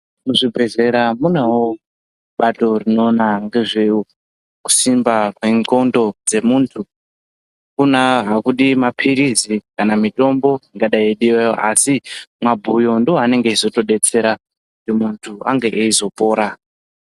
Kuzvibhedhleya kunevo bato runoona ngezvekusimba kwendxondo dzemuntu. Hakudivi maphirizi kana mitombo ingadai yeidivayo. Asi mabhuyo ndoanenge echi zotobetsera kuti muntu ange eizopora.